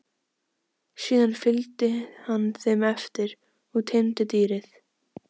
Síðan fylgdi hann þeim eftir og teymdi dýrið.